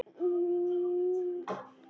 Er það já?